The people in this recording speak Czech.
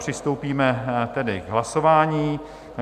Přistoupíme tedy k hlasování.